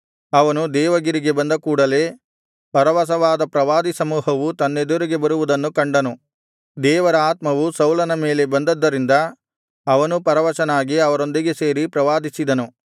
ಅವನು ದೇವಗಿರಿಗೆ ಬಂದ ಕೂಡಲೆ ಪರವಶವಾದ ಪ್ರವಾದಿಸಮೂಹವು ತನ್ನೆದುರಿಗೆ ಬರುವುದನ್ನು ಕಂಡನು ದೇವರ ಆತ್ಮವು ಸೌಲನ ಮೇಲೆ ಬಂದ್ದದರಿಂದ ಅವನೂ ಪರವಶನಾಗಿ ಅವರೊಂದಿಗೆ ಸೇರಿ ಪ್ರವಾದಿಸಿದನು